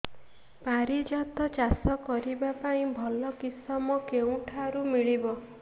ପାରିଜାତ ଚାଷ କରିବା ପାଇଁ ଭଲ କିଶମ କେଉଁଠାରୁ ମିଳିବ